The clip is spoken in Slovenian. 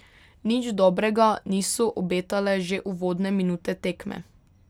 Nič dobrega niso obetale že uvodne minute tekme.